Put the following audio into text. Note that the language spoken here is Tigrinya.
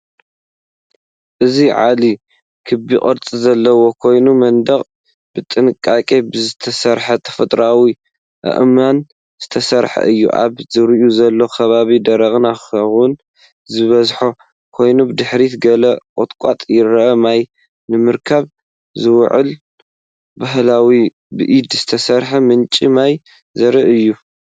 እዚ ዒላ ክቢ ቅርጺ ዘለዎ ኮይኑ፡ መንደቕ ብጥንቃቐ ብዝተሰርዐ ተፈጥሮኣዊ ኣእማን ዝተሰርሐ እዩ። ኣብ ዙርኡ ዘሎ ከባቢ ደረቕን ኣኻውሕ ዝበዝሖን ኮይኑ፡ ብድሕሪት ገለ ቁጥቋጥ ይርአ። ማይ ንምርካብ ዝውዕል ባህላዊ፡ ብኢድ ዝተሰርሐ ምንጪ ማይ ዘርኢ እዩ።